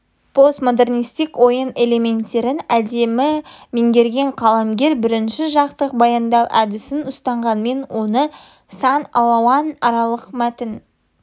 постмодернисттік ойын элементтерін әдемі меңгерген қаламгер бірінші жақтық баяндау әдісін ұстанғанмен оны сан алуан аралық мәтін